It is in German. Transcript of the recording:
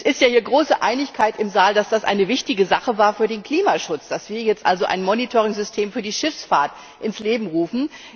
Es herrscht ja große Einigkeit im Saal, dass das eine wichtige Sache für den Klimaschutz war, dass wir jetzt also ein Monitoring System für die Schifffahrt ins Leben rufen.